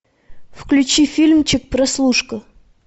включи фильмчик прослушка